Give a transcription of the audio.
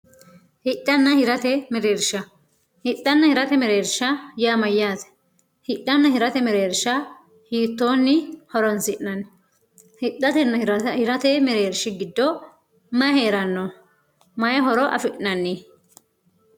hixhanna hirate mereersha hixhanna hirate mereersha yaamayyaate hidhanna hirate mereersha hiittoonni horonsi'nanni hidhatenna hirate mereershi giddoo may hee'ranno mayi horo afi'nanni